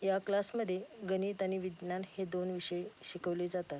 या क्लास मध्ये गणित आणि विज्ञान हे दोन विषय शिकवले जातात.